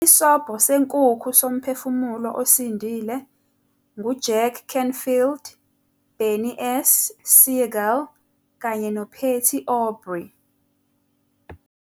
Isobho Senkukhu Somphefumulo Osindile nguJack Canfield, Bernie S. Siegel, kanye noPatty Aubrey.